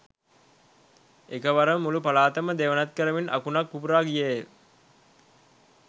එක වරම මුළු පළාතම දෙවනත් කරමින් අකුණක් පුපුරා ගියේය